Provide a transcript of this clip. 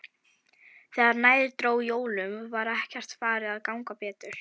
Þegar nær dró jólum var ekkert farið að ganga betur.